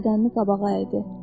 bədənini qabağa əydi.